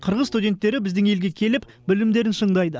қырғыз студенттері біздің елге келіп білімдерін шыңдайды